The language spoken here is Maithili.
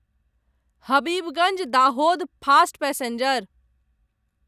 Habibganj Dahod fast passenger